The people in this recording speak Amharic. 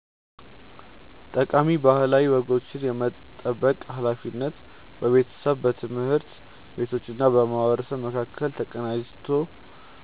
ጠቃሚ ባህላዊ ወጎችን የመጠበቅ ሃላፊነት በቤተሰብ፣ በትምህርት ቤቶችና በማህበረሰብ መካከል ተቀናጅቶ